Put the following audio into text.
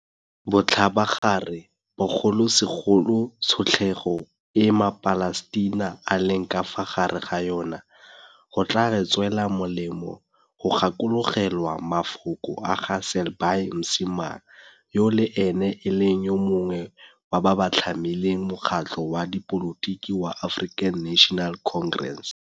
Botlhabagare bogolosegolo tshotlego e maPalestina a leng ka fa gare ga yona, go tla re tswela molemo go gakologelwa mafoko a ga Selby Msimang, yo le ene e leng yo mongwe wa ba ba tlhamileng mokgatlho wa dipolotiki wa African National Congress.